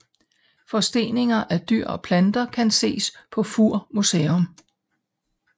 Forsteninger af dyr og planter kan ses på Fur Museum